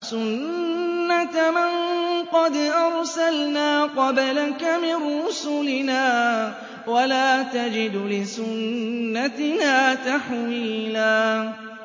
سُنَّةَ مَن قَدْ أَرْسَلْنَا قَبْلَكَ مِن رُّسُلِنَا ۖ وَلَا تَجِدُ لِسُنَّتِنَا تَحْوِيلًا